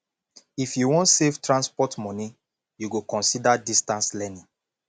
if you wan save transport moni you go consider distance learning